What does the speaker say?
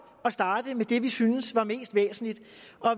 at starte med det vi synes er mest væsentligt